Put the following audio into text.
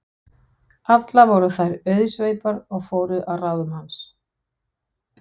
Allar voru þær auðsveipar og fóru að ráðum hans.